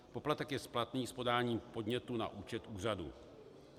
Poplatek je splatný s podáním podnětu na účet úřadu.